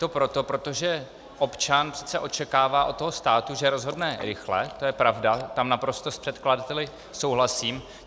To proto, protože občan přece očekává od toho státu, že rozhodne rychle, to je pravda, tam naprosto s předkladateli souhlasím.